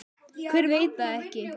Hver veit það ekki?